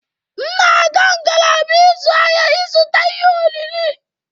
M na-aga ngalaba ịzụ ahịa ịzụta ihe oriri.